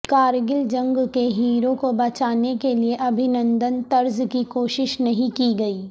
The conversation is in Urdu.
کارگل جنگ کے ہیرو کو بچانے کیلئے ابھینندن طرز کی کوشش نہیں کی گئی